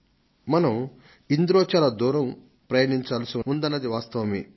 మనం ఇందులో చాలా దూరం ప్రయాణించాల్సి ఉందన్నది వాస్తవమే